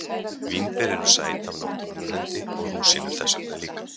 Vínber eru sæt af náttúrunnar hendi og rúsínur þess vegna líka.